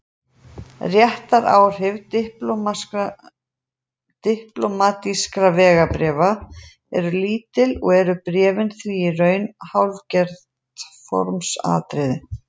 Réttaráhrif diplómatískra vegabréfa eru lítil og eru bréfin því í raun hálfgert formsatriði.